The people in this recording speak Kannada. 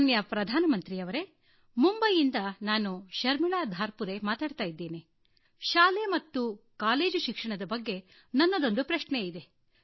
ಮಾನ್ಯ ಪ್ರಧಾನ ಮಂತ್ರಿಯವರೇ ಮುಂಬಯಿಯಿಂದ ನಾನು ಶರ್ಮೀಳಾ ಧಾರ್ಪುರೇ ಮಾತಾಡ್ತಾ ಇದ್ದೇನೆ ಶಾಲೆ ಮತ್ತು ಕಾಲೇಜು ಶಿಕ್ಷಣದ ಬಗ್ಗೆ ನನ್ನದೊಂದು ಪ್ರಶ್ನೆ ಇದೆ